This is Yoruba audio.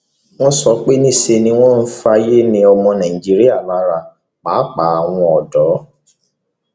wọn sọ pé níṣe ni wọn ń fayé ni ọmọ nàìjíríà lára pàápàá àwọn ọdọ